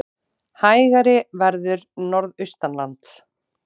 Hægari verður norðaustanlands